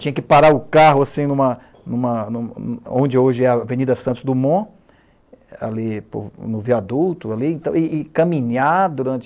Tinha que parar o carro, assim, em uma em uma em um hm hm onde hoje é a Avenida Santos Dumont, ali no viaduto, e e caminhar durante...